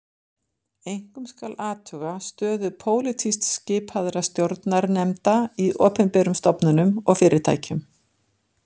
Einkum skal athuga stöðu pólitískt skipaðra stjórnarnefnda í opinberum stofnunum og fyrirtækjum